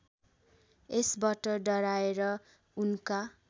यसबाट डराएर उनका